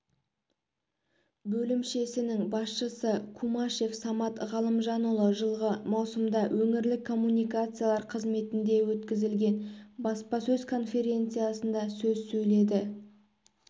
бөлімшесінің басшысы кумашев самат ғалымжанұлы жылғы маусымда өңірлік коммуникациялар қызметінде өткізілген баспасөз конференциясында сөз сөйледі